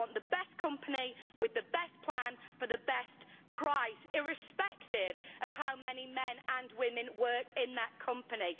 I want the best company with the best plan for the best price, irrespective of how many men and women work in that company.